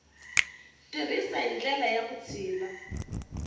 tirhisiwile hi ndlela ya vutshila